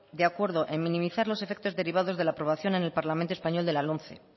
de acuerdo en minimizar los efectos derivados de la aprobación en el parlamento español de la lomce